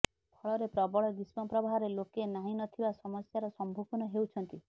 ଫଳରେ ପ୍ରବଳ ଗ୍ରୀଷ୍ମ ପ୍ରବାହରେ ଲୋକେ ନାହିଁ ନଥିବା ସମସ୍ୟାର ସମ୍ମୁଖୀନ ହେଉଛନ୍ତି